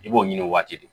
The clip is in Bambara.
I b'o ɲini waati dɔ de